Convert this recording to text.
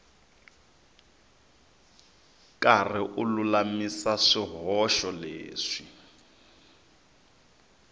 karhi u lulamisa swihoxo leswi